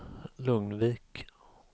Lugnvik